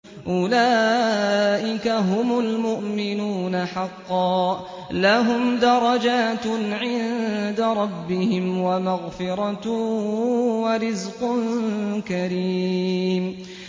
أُولَٰئِكَ هُمُ الْمُؤْمِنُونَ حَقًّا ۚ لَّهُمْ دَرَجَاتٌ عِندَ رَبِّهِمْ وَمَغْفِرَةٌ وَرِزْقٌ كَرِيمٌ